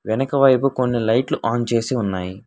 వెనకవైపు కొన్ని లైట్లు ఆన్ చేసి ఉన్నాయి.